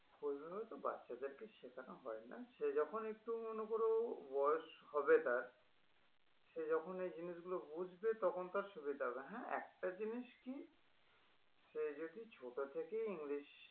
ওই জন্য তো বাচ্চাদেরকে শেখানো হয়ই না সে যখন একটু মনে করো বয়স হবে তার সে যখন এ জিনিসগুলো বুঝবে তখন তার সুবিধা হবে হ্যাঁ একটা জিনিস কি সে যদি ছোট থেকে english